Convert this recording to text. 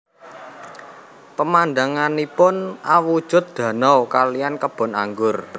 Pemandanganipun awujud danau kaliyan kebon anggur